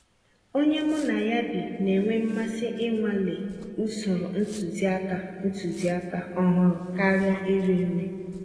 Ònyé mụ́ ná yá bí ná-ènwé mmàsí ìnwàlé ụ̀sòrò ntụ̀zìàkà ntụ̀zìàkà ọ̀hụ́rụ́ kàríà írì nrí.